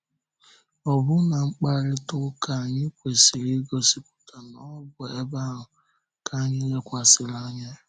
Ọ̀bụ̀nà mkparịta ụka anyị kwesị̀rị igosipụta na ọ bụ ebe ahụ ka anyị lekwasịrị anya.